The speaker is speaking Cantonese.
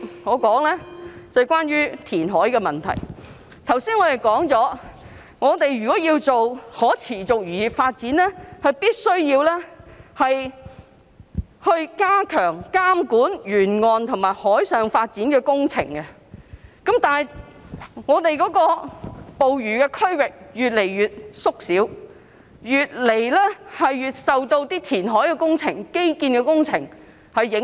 我剛才提到，如果要推動漁業可持續發展，必須加強監管沿岸和海上的發展工程，但香港捕魚區一直在縮小，越來越受到填海和基建工程的影響。